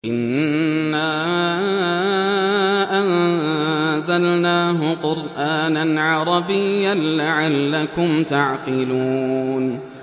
إِنَّا أَنزَلْنَاهُ قُرْآنًا عَرَبِيًّا لَّعَلَّكُمْ تَعْقِلُونَ